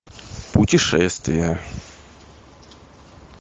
путешествия